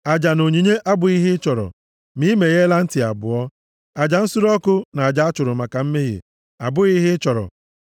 Aja na onyinye + 40:6 \+xt 1Sa 15:22; Abụ 51:16-17; Aịz 1:11; Jer 7:22-23; Mai 6:6-8; Hib 10:5-9\+xt* abụghị ihe ị chọrọ ma ị megheela ntị abụọ; aja nsure ọkụ na aja a chụrụ maka mmehie abụghị ihe ị chọrọ.